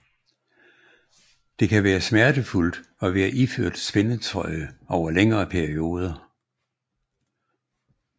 Det kan være smertefuldt at være iført spændetrøje over længere perioder